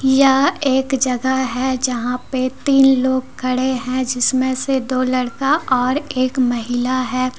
यह एक जगह है जहां पे तीन लोग खड़े हैं जिस मे से दो लड़का और एक महिला हैं।